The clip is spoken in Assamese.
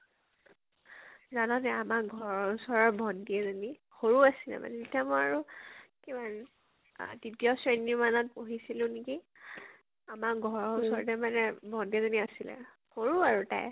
জান নে আমাৰ ঘৰৰ ওচৰৰ ভন্টি এজনী, সৰু আছিলে মানে , তেতিয়া মই আৰু কিমান আ তৃতীয় শ্ৰেণী মানত পঢ়়িছিলো নেকি ? আমাৰ ঘৰৰ ওচৰতে মানে ভন্টি এজনী আছিল, সৰু আৰু তাই ।